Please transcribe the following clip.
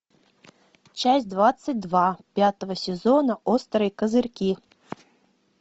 часть двадцать два пятого сезона острые козырьки